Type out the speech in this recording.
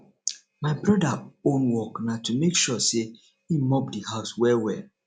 my broda own work na to mek sure say him mop the house well well